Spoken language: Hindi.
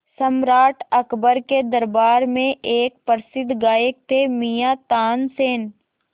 सम्राट अकबर के दरबार में एक प्रसिद्ध गायक थे मियाँ तानसेन